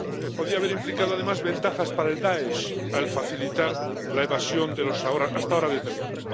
Podía haber implicado además ventajas para el Dáesh al facilitar la evasión de los hasta ahora detenidos.